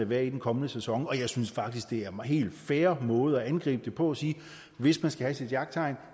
være i den kommende sæson og jeg synes faktisk det er en helt fair måde at gribe det an på at sige hvis man skal have sit jagttegn